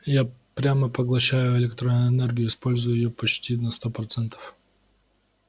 я прямо поглощаю электроэнергию и использую её почти на сто процентов